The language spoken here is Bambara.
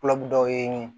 dɔw ye nin ye